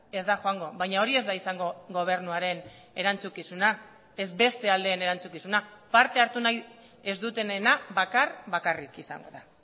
ez da joango baina hori ez da izango gobernuaren erantzukizuna ez beste aldeen erantzukizuna parte hartu ez dutenena bakar bakarrik izango da